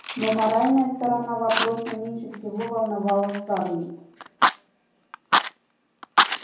но моральная сторона вопроса меньше всего волновала скарлетт